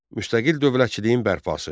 Müstəqil dövlətçiliyin bərpası.